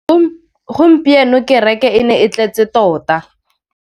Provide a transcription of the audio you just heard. Gompieno kêrêkê e ne e tletse tota.